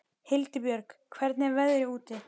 Hildibjörg, hvernig er veðrið úti?